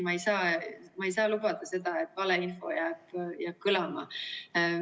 Ma ei saa lubada seda, et valeinfo jääb kõlama.